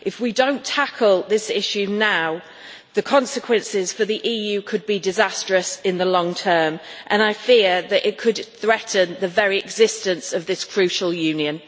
If we do not tackle this issue now, the consequences for the EU could be disastrous in the long term and I fear that it could threaten the very existence of this crucial union.